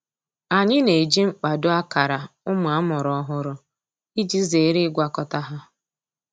Anyị na-eji mkpado akara ụmụ amụrụ ọhụrụ iji zere ịgwakọta ha.